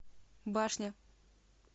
башня